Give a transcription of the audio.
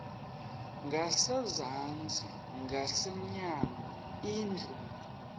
ngasezantsi ngasemnyango indlu